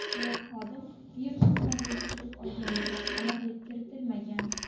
Biroq xodim virusni qanday yuqtirib olganiga aniqlik kiritilmagan.